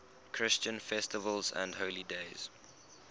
christian festivals and holy days